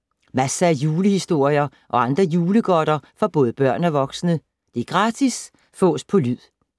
Masser af julehistorier og andre julegodter for både børn og voksne. Gratis Fås på lyd